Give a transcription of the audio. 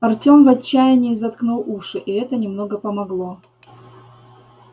артём в отчаянии заткнул уши и это немного помогло